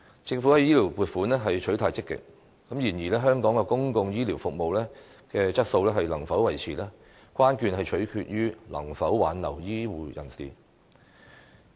政府在醫療撥款方面取態積極，但香港的公共醫療服務質素能否維持，關鍵取決於能否挽留醫護人才。